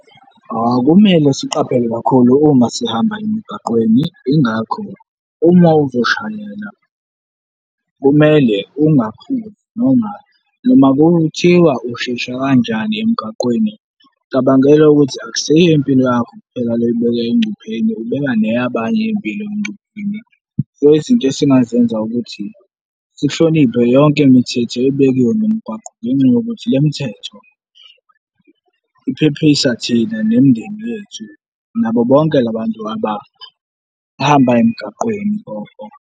Kumele siqaphele kakhulu uma sihamba emgaqweni, yingakho uma uzoshayela, kumele ungaphuzi. Noma kuthiwa ushesha kanjani emgaqweni, cabangela ukuthi akusiyo impilo yakho kuphela le oyibeka engcupheni, ubeka ne yabanye impilo engcupheni. So izinto esingazenza ukuthi sihloniphe yonke imithetho ebekiwe ngomgwaqo ngenxa yokuthi le mthetho iphepisa thina nemindeni yethu nabo bonke la bantu abahamba emgaqweni .